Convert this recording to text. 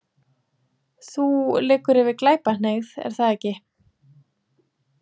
Þú liggur yfir Glæpahneigð, er það ekki?